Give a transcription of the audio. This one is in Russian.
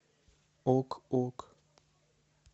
ок ок